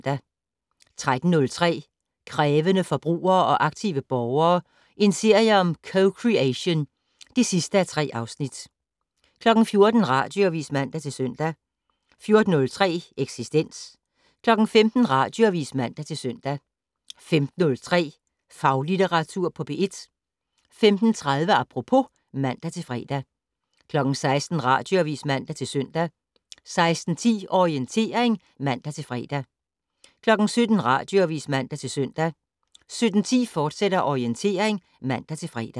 13:03: Krævende forbrugere og aktive borgere - en serie om co-creation (3:3) 14:00: Radioavis (man-søn) 14:03: Eksistens 15:00: Radioavis (man-søn) 15:03: Faglitteratur på P1 15:30: Apropos (man-fre) 16:00: Radioavis (man-søn) 16:10: Orientering (man-fre) 17:00: Radioavis (man-søn) 17:10: Orientering, fortsat (man-fre)